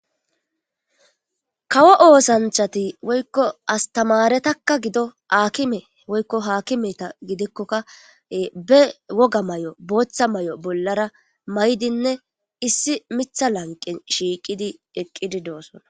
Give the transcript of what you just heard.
Kawo oosanchati woykko astamaretakka gido aakime woykko haakimeta gidikkokka be woga may'o booththa may'o bollara may'dinne issi mitha lanqe shiiqidi eqqidi doosson.